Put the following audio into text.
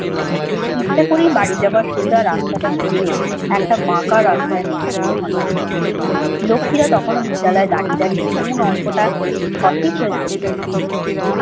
ইচ্ছে করেই বাড়ি যাওয়ার সোজা রাস্তাটা ছেড়ে একটা বাঁকা রাস্তায় নেমে পড়ল হঠাৎ। লক্ষ্মীরা কখনও বিদ্যালয়ে দাঁড়িয়ে দাঁড়িয়ে কোন অঙ্কটা সঠিক হয়েছে দেখে নিচ্ছে।